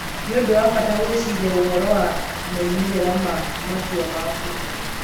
Nĩ ũndũ wa bata gwĩciria ũhoro wa moimĩrĩro ma matua maku.